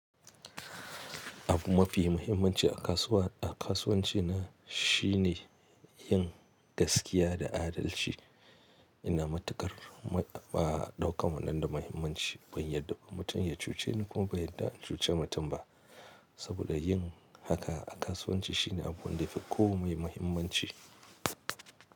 Abu mafi muhimmanci a kasuwa, a kasuwanci na shine yin gaskiya da adalci. Ina matukar dauka wannan da muhimmanci. Ban yadda ko mutum ya cuce ni kuma ban yadda in cuce mutum ba, saboda yin haka a kasuwanci shine abun da yafi komai muhimmanci.